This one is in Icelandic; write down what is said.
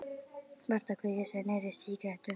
Marta að kveikja sér í nýrri sígarettu.